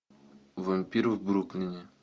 вампир в бруклине